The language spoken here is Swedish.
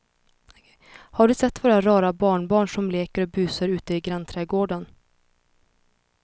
Har du sett våra rara barnbarn som leker och busar ute i grannträdgården!